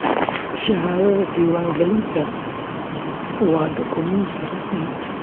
Shahaadada diiwaangelinta, waa dukumenti rasmi ah